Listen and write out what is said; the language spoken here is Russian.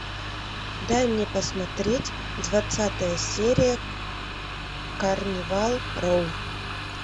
дай мне посмотреть двадцатая серия карнивал роу